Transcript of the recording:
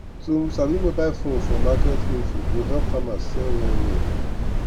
to sabi mobile phone for market info go help farmers sell well well